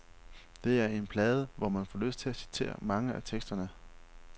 Det er en plade, hvor man får lyst til at citere mange af teksterne.